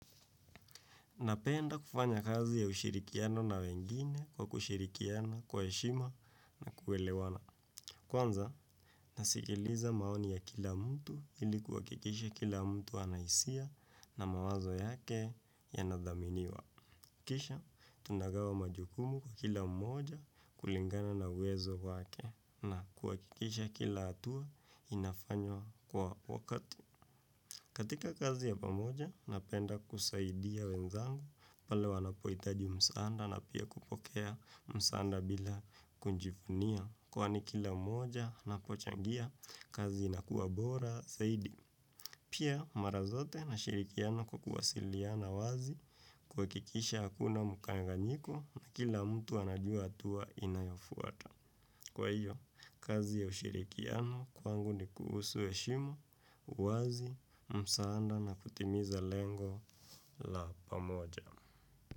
Napenda kufanya kazi ya ushirikiano na wengine kwa kushirikiana kwa heshima na kuelewana. Kwanza, nasikiliza maoni ya kila mtu ili kuhakikisha kila mtu ana hisia na mawazo yake yanadhaminiwa. Kisha, tunagawa majukumu kwa kila mmoja kulingana na uwezo wake na kuhakikisha kila hatua inafanywa kwa wakati. Katika kazi ya pamoja napenda kusaidia wenzangu pale wanapohitaji msaada na pia kupokea msaada bila kujivunia. Kwani kila mmoja anapochangia kazi inakuwa bora zaidi. Pia mara zote nashirikiana na kuwasiliana wazi kuhakikisha hakuna mkanganyiko na kila mtu anajua hatua inayofuata. Kwa hiyo, kazi ya ushirikiano kwangu ni kuhusu heshima, uwazi, msaada na kutimiza lengo la pamoja.